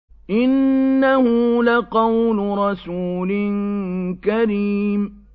إِنَّهُ لَقَوْلُ رَسُولٍ كَرِيمٍ